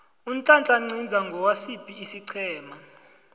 unhlanhla nciza ngosiphi isiqhema